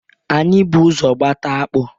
Anyị bụ ụzọ gbata akpụ.